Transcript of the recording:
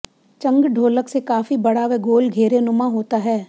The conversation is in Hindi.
चंग ढोलक से काफी बड़ा व गोल घेरे नुमा होता है